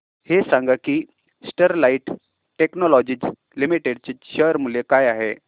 हे सांगा की स्टरलाइट टेक्नोलॉजीज लिमिटेड चे शेअर मूल्य काय आहे